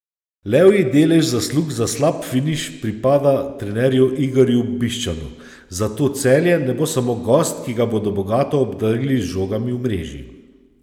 Levji delež zaslug za slab finiš pripada trenerju Igorju Bišćanu, zato Celje ne bo samo gost, ki ga bodo bogato obdarili z žogami v mreži.